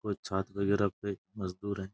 कोई वगेरह कोई मजदूर है।